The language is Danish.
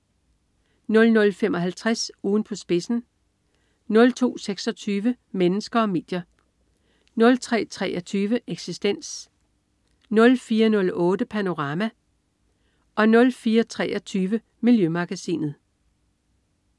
00.55 Ugen på spidsen* 02.26 Mennesker og medier* 03.23 Eksistens* 04.08 Panorama* 04.23 Miljømagasinet*